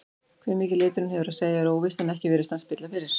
Hve mikið liturinn hefur að segja er óvíst en ekki virðist hann spilla fyrir.